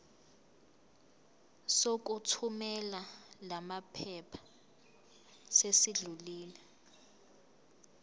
sokuthumela lamaphepha sesidlulile